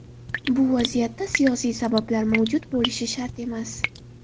Bu vaziyatda siyosiy sabablar mavjud bo‘lishi shart emas.